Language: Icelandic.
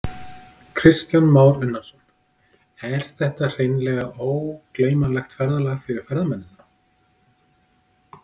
Kristján Már Unnarsson: Er þetta hreinlega ógleymanlegt ferðalag fyrir ferðamennina?